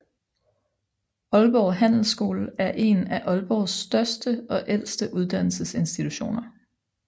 Aalborg Handelsskole er én af Aalborgs største og ældste uddannelsesinstitutioner